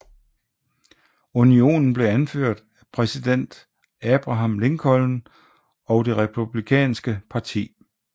Unionen blev anført af præsident Abraham Lincoln og det Republikanske parti